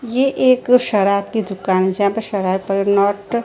ये एक शराब की दुकान जहां पे शराब पर नॉट --